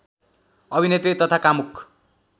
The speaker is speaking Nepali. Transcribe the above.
अभिनेत्री तथा कामुक